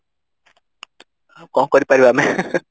ଆଉ କଣ କରିପାରିବା ଆମେ